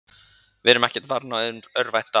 Við erum ekkert farnir að örvænta.